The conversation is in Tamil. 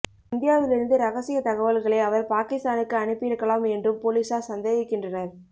இந்தியாவில் இருந்து ரகசிய தகவல்களை அவர் பாகிஸ்தானுக்கு அனுப்பியிருக்கலாம் என்றும் போலீசார் சந்தேகிக்கின்றனர்